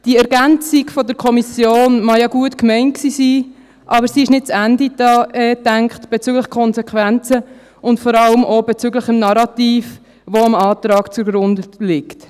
Die Ergänzung der Kommission mag ja gut gemeint sein, aber sie ist bezüglich der Konsequenzen nicht zu Ende gedacht und vor allem auch bezüglich des Narrativs, das dem Antrag zugrunde liegt.